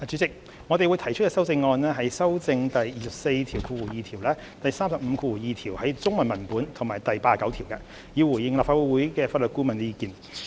代理主席，我們將會提出修正案，以修正第242條、第352條的中文文本及第89條，以回應立法會法律顧問的意見。